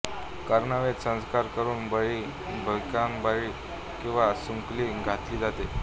कर्णवेध संस्कार करून बाळी भिकबाळी किंवा सुंकली घातली जाते